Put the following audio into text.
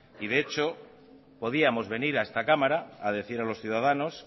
y de hecho podíamos venir a esta cámara a decir a los ciudadanos